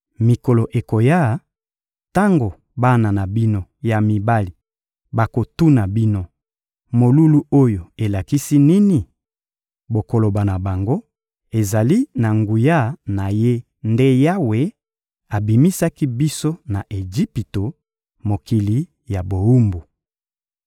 Mikolo ekoya, tango bana na bino ya mibali bakotuna bino: ‹Molulu oyo elakisi nini?› Bokoloba na bango: ‹Ezali na nguya na Ye nde Yawe abimisaki biso na Ejipito, mokili ya bowumbu.